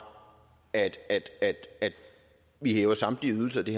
at at vi hæver samtlige ydelser det